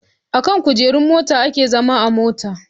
Akan kujerun mota ake zama a mota